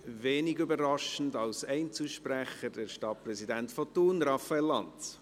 Wenig überraschend, als Einzelsprecher, der Stadtpräsident von Thun, Raphael Lanz.